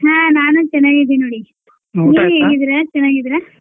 ಹಾ ನಾನು ಚನಾಗ್ ಇದೀನ್ ನೋಡಿ ನೀವ್ ಹೇಗಿದಿರಾ ಚೆನಾಗಿದ್ದೀರಾ?